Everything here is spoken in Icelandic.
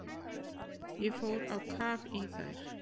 Ég fór á kaf í þær.